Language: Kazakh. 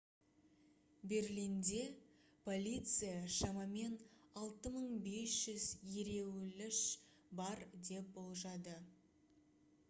берлинде полиция шамамен 6500 ереуілші бар деп болжады